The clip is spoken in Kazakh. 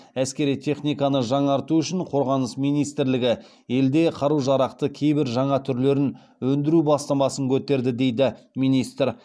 әскери техниканы жаңарту үшін қорғаныс министрлігі елде қару жарақты кейбір жаңа түрлерін өндіру бастамасын көтерді дейді министр